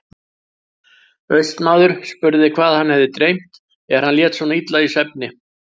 Austmaður spurði hvað hann hefði dreymt er hann lét svo illa í svefni.